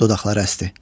Dodaqları əsdi.